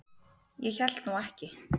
Ég hélt nú ekki.